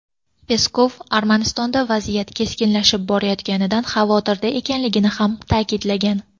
Peskov Armanistonda vaziyat keskinlashib borayotganidan xavotirda ekanligini ham ta’kidlagan.